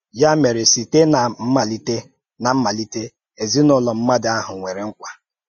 Yá mèrè, sịté n’á mmálìté, n’á mmálìté, èzìnàùlọ̀ mmádụ̀ áhụ̀ nwèrè nkwá.